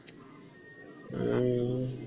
উম